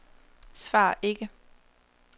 svar ikke